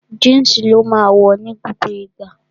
Jínsì ni ó máa wọ̀ ní gbogbo ìgbà